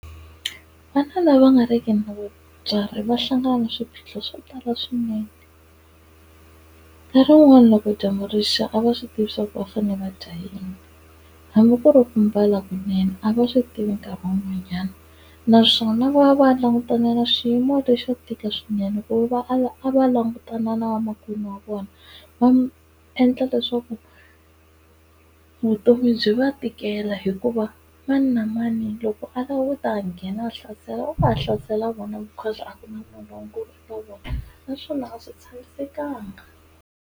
Vana lava nga ri ki na vatswari va hlangana na swiphiqo swo tala swinene. Nkarhi wun'wani loko dyambu rixa a va swi tivi swa ku va fanele va dya yini, hambi ku ri ku mbala kunene a va swi tivi nkarhi wun'wanyana. Naswona va va langutana na xiyimo lexo tika swinene ku va a va langutana na vamakwenu wa vona, va endla leswaku vutomi byi va tikela hikuva mani na mani loko a lava ku ta ha nghena hlasela u ta ha hlasela vona because a ku na munhunkulu ka vona naswona a swi tshamisekanga.